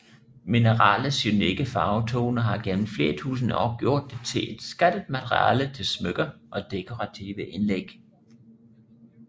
Mineralets unikke farvetone har gennem flere tusinde år gjort det til et skattet materiale til smykker og dekorative indlæg